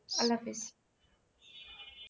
আল্লাহাফিজ।